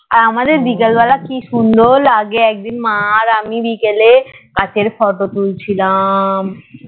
আমাদের বিকাল বেলা কি সুন্দর লাগে একদিন মা আর আমি বিকেলে গাছের photo তুলছিলাম